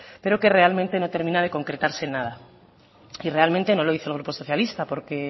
pero que realmente no termina de concretarse en nada y realmente no lo dice el grupo socialista porque